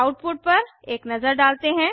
output पर एक नजर डालते हैं